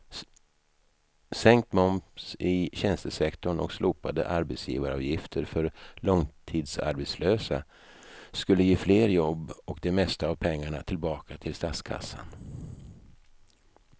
Sänkt moms i tjänstesektorn och slopade arbetsgivaravgifter för långtidsarbetslösa skulle ge fler jobb och det mesta av pengarna tillbaka till statskassan.